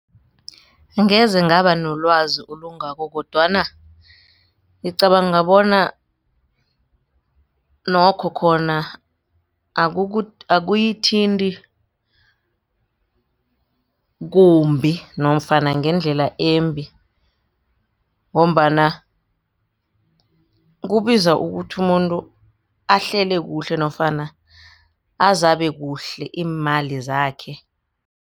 Angeze ngaba nolwazi olungako kodwana ngicabanga bona nokho khona akuyithinti kumbi nofana ngendlela embi ngombana kubiza ukuthi umuntu ahlele kuhle nofana azabe kuhle iimali zakhe.